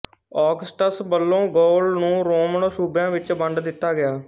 Augustus ਵੱਲੋਂ Gaul ਨੂੰ Roman ਸੂਬਿਆਂ ਵਿੱਚ ਵੰਡ ਦਿੱਤਾ ਗਿਆ